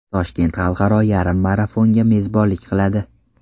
Toshkent Xalqaro yarim marafonga mezbonlik qiladi.